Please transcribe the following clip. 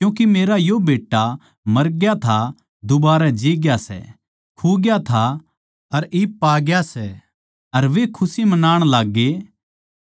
क्यूँके मेरा यो बेट्टा मरग्या था दूबारै जीग्या सै खुग्या था अर इब पाग्या सै अर वे खुशी मनाण लाग्गे